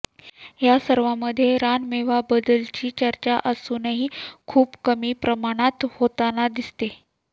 या सर्वामध्ये रानमेवा बद्दलची चर्चा अजूनही खूप कमी प्रमाणात होताना दिसते